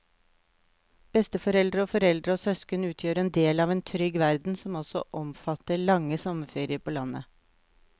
Besteforeldre og foreldre og søsken utgjør en del av en trygg verden som også omfatter lange sommerferier på landet.